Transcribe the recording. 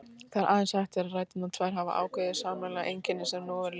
Það er aðeins hægt þegar ræturnar tvær hafa ákveðið sameiginlegt einkenni, sem nú verður lýst.